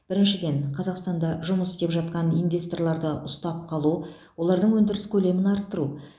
біріншіден қазақстанда жұмыс істеп жатқан инвесторларды ұстап қалу олардың өндіріс көлемін арттыру